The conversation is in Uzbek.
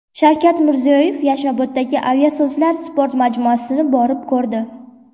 Shavkat Mirziyoyev Yashnoboddagi Aviasozlar sport majmuasini borib ko‘rdi.